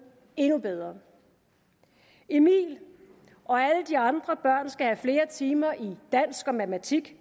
endnu bedre emil og alle de andre børn skal have flere timer i dansk og matematik